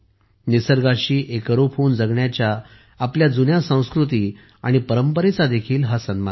निसर्गाशी एकरूप होऊन जगण्याच्या आपल्या जुन्या संस्कृती आणि परंपरेचाही हा सन्मान आहे